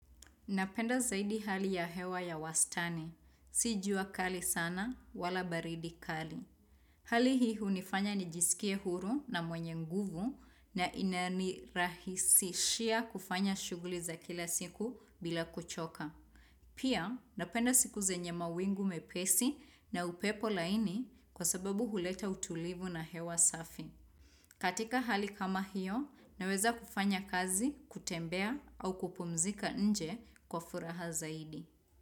Napenda zaidi hali ya hewa ya wastani. Si jua kali sana wala baridi kali. Hali hii hunifanya nijisikie huru na mwenye nguvu na inanirahisishia kufanya shughuli za kila siku bila kuchoka. Pia napenda siku zenye mawingu mepesi na upepo laini kwa sababu huleta utulivu na hewa safi. Katika hali kama hiyo, naweza kufanya kazi, kutembea au kupumzika nje kwa furaha zaidi.